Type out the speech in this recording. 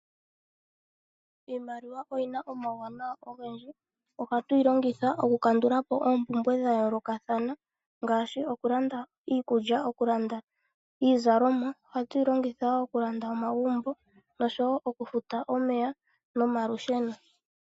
Iimaliwa oyina omauwanawa ogendji, ohatu yi longitha okukandula po oompumbwe dha yoolokathana ngaashi okulanda iikulya, okulanda iizalomwa. Ohatu yi longitha wo okulanda omagumbo noshowo okufuta omeya nomalusheno.